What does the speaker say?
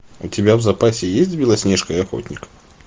у тебя в запасе есть белоснежка и охотник